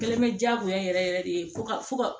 Gɛlɛn bɛ diyagoya yɛrɛ yɛrɛ de fo ka fo ka